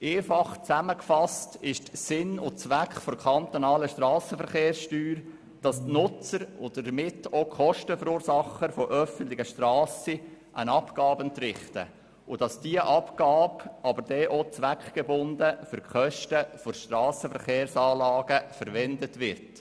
Einfach zusammengefasst ist Sinn und Zweck der kantonalen Strassenverkehrssteuer, dass die Nutzer von öffentlichen Strassen, und damit auch die Kostenverursacher, eine Abgabe entrichten und diese Abgabe dann auch wieder zweckgebunden für die Kosten von Strassenverkehrsanlagen verwendet wird.